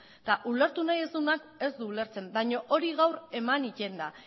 eta ulertu nahi ez duenak ez du ulertzen baina hori gaur eman egiten da